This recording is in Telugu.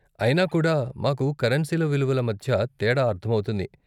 అయినా కూడా, మాకు కరెన్సీల విలువల మధ్య తేడా అర్ధమవుతుంది.